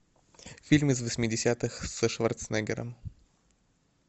фильм из восьмидесятых со шварценеггером